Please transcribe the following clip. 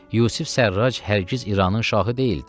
Yusif Sərrac hər giz İranın şahı deyildi.